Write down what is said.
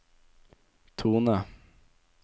tone